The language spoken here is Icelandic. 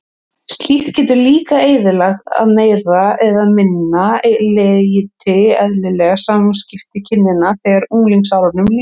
Slíkt getur líka eyðilagt að meira eða minna leyti eðlileg samskipti kynjanna þegar unglingsárunum lýkur.